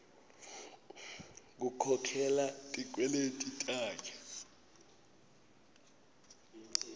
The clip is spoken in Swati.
kukhokhela tikweleti takhe